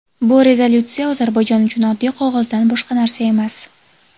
bu rezolyutsiya Ozarbayjon uchun oddiy qog‘ozdan boshqa narsa emas.